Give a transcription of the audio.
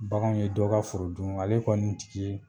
Bakanw ye dɔ ka foro dun ale kɔni jiki